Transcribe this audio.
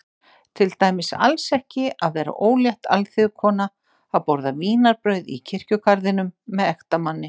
Til dæmis alls ekki að vera ólétt alþýðukona að borða vínarbrauð í kirkjugarðinum með ektamanni.